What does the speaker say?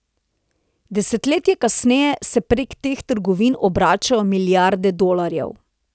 Desetletje kasneje se prek teh trgovin obračajo milijarde dolarjev.